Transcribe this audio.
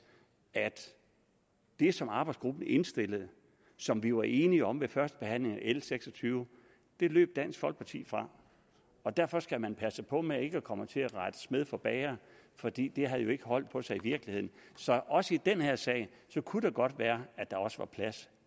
at det som arbejdsgruppen indstillede og som vi var enige om ved førstebehandlingen af l seks og tyve løb dansk folkeparti fra derfor skal man passe på med ikke at komme til at rette smed for bager for det har jo ikke hold på sig i virkeligheden så også i den her sag kunne det godt være at der også var plads